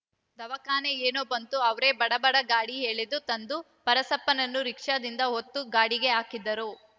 ದವಾಖಾನೆ ಏನೋ ಬಂತು ಅವ್ರೇ ಬಡ ಬಡ ಗಾಡಿ ಎಳೆದು ತಂದು ಪರಸಪ್ಪನನ್ನು ರೀಕ್ಷಾದಿಂದ ಒತ್ತು ಗಾಡಿಗೆ ಹಾಕಿದರು